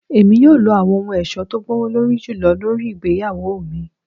Emi yoo lo awọn ohun ọṣọ ti o gbowolori julọ lori igbeyawo mi